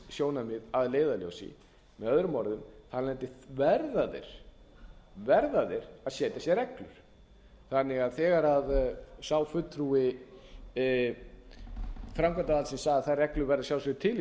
jafnræðissjónarmið að leiðarljósi möo þar af leiðandi verða þeir að setja sér reglur þegar því sá fulltrúi framkvæmdarvaldsins sagði að þær reglur væru að sjálfsögðu til í